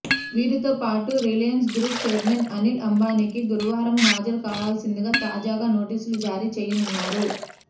వీరితో పాటు Reliance group chairman Anil అంబానీకి గురువారం హాజరు కావాల్సిందిగా తాజాగా నోటీసులు జారీ చేయనున్నారు